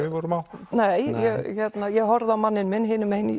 við vorum á ég horfði á manninn minn hinu megin í